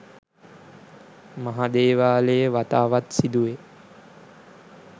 මහ දේවාලයේ වතාවත් සිදුවේ.